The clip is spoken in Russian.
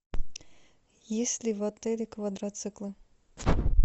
есть ли в отеле квадроциклы